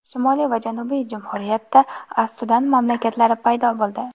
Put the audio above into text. Shimoliy va janubiy jumhuriyatda as-Sudan mamlakatlari paydo bo‘ldi.